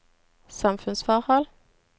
samfunnsforhold